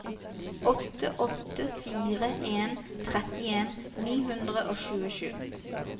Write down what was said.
åtte åtte fire en trettien ni hundre og tjuesju